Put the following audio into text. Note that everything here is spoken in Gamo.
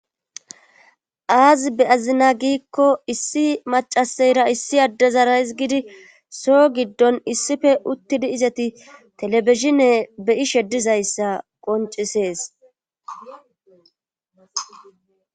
Aazii be azina giikko issi macaseyra issi addezarays gidi soo giddon issife uttidi izati telebishine beyishe dizayssa qoncisees.